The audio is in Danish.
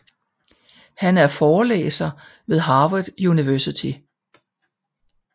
Han er forelæser ved Harvard University